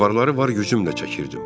Avarları var gücümlə çəkirdim.